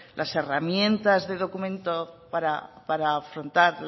las herramientas de documento para afrontar